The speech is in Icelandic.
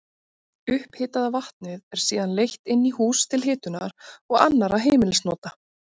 Upphitaða vatnið er síðan leitt inn í hús til hitunar og annarra heimilisnota.